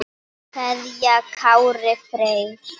kveðja Kári Freyr.